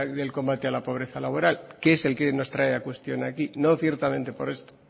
del combate a la pobreza laboral que es el que nos trae a cuestión aquí no ciertamente por eso